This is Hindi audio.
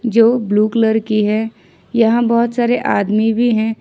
जो ब्लू कलर की है यहां बहुत सारे आदमी भी हैं।